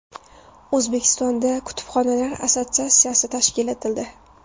O‘zbekistonda kutubxonalar assotsiatsiyasi tashkil etildi.